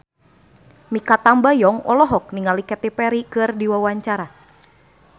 Mikha Tambayong olohok ningali Katy Perry keur diwawancara